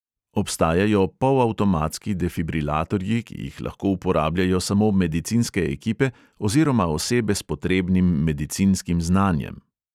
Obstajajo polavtomatski defibrilatorji, ki jih lahko uporabljajo samo medicinske ekipe oziroma osebe s potrebnim medicinskim znanjem.